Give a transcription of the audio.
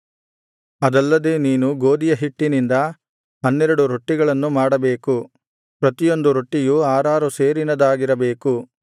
ಅದಲ್ಲದೆ ನೀನು ಗೋದಿಯ ಹಿಟ್ಟಿನಿಂದ ಹನ್ನೆರಡು ರೊಟ್ಟಿಗಳನ್ನು ಮಾಡಬೇಕು ಪ್ರತಿಯೊಂದು ರೊಟ್ಟಿಯು ಆರಾರು ಸೇರಿನದಾಗಿರಬೇಕು